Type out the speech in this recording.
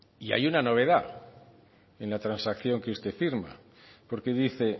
y hay una novedad en la transacción que usted firma porque dice